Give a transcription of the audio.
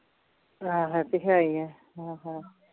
ਹਾਂ ਇਹ ਤੇ ਹੈ ਈ ਏ ਹਾਂ ਹਾਂ